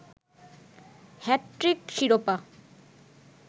hat trick শিরোপা